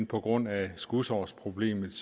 på grund af skudårsproblemet